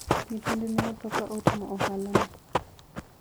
nyithinde ne otho ka otimo ohala no